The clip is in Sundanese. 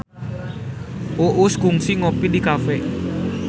Uus kungsi ngopi di cafe